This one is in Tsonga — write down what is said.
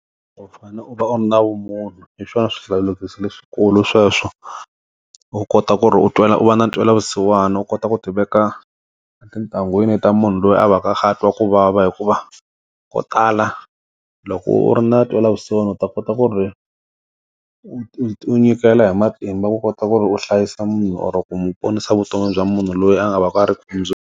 U fane u va u ri na vumunhu hi swona swihlawulekisi leswikulu sweswo u kota ku ri u twela u va na ntwelavusiwana u kota ku ti veka tintangwini ta munhu loyi a va ka a twa ku vava hikuva ko tala loko u ri na ntwelavusiwana u ta kota ku ri u nyikela hi matimba ku kota ku ri u hlayisa munhu oro ku mi ponisa vutomi bya munhu loyi a nga va ku a ri .